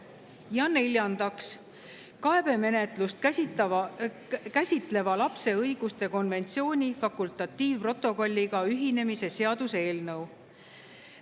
Ja neljandaks, kaebemenetlust käsitleva lapse õiguste konventsiooni fakultatiivprotokolliga ühinemise seaduse eelnõu.